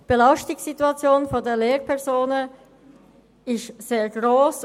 Die Belastungssituation der Lehrpersonen ist sehr gross.